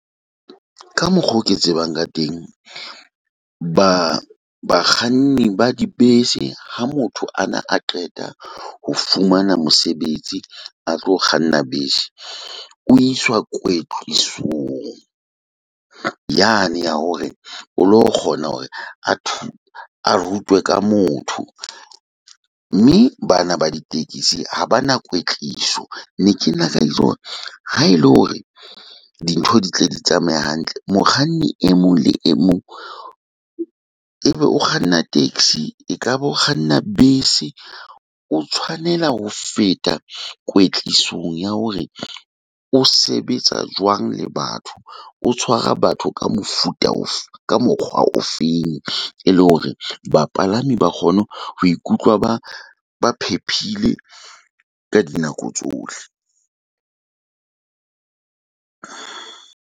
Ka mokgwa oo ke tsebang ka teng ba bakganni ba dibese. Ha motho a na a qeta ho fumana mosebetsi, a tlo kganna bese. o iswa kwetlisong yane ya hore o lo kgona hore a a rutwe ka motho, mme bana ba ditekisi ha ba na kwetliso. Ne ke na ha e le hore dintho di tle di tsamaye hantle. Mokganni e mong le e mong ebe o kganna taxi e ka ba o kganna bese, o tshwanela ho feta kwetlisong ya hore o sebetsa jwang le batho, o tshwara batho ka mofu mofuta ofe ka mokgwa o feng. E le hore bapalami ba kgone ho ikutlwa ba ba phephile ka dinako tsohle.